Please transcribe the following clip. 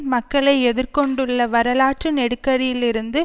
மக்களை எதிர் கொண்டுள்ள வரலாற்று நெருக்கடியிலிருந்து